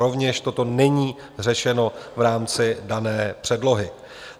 Rovněž toto není řešeno v rámci dané předlohy.